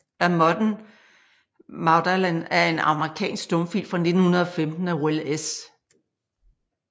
A Modern Magdalen er en amerikansk stumfilm fra 1915 af Will S